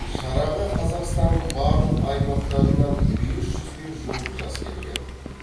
шараға қазақстанның барлық аймақтарынан бес жүзге жуық жас келген